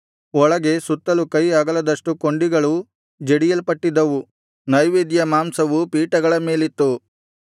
ಒಳಗೆ ಸುತ್ತಲು ಕೈ ಅಗಲದಷ್ಟು ಕೊಂಡಿಗಳು ಜಡಿಯಲ್ಪಟ್ಟಿದ್ದವು ನೈವೇದ್ಯ ಮಾಂಸವು ಪೀಠಗಳ ಮೇಲಿತ್ತು